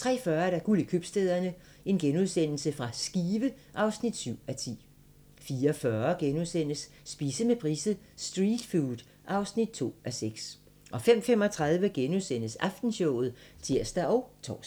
03:40: Guld i købstæderne - Skive (7:10)* 04:40: Spise med Price: "Street food" (2:6)* 05:35: Aftenshowet *(tir og tor)